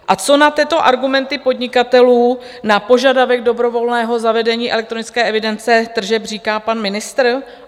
A co na tyto argumenty podnikatelů, na požadavek dobrovolného zavedení elektronické evidence tržeb, říká pan ministr?